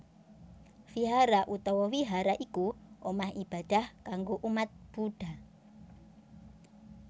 Vihara utawa Wihara iku omah ibadah kanggo umat Buddha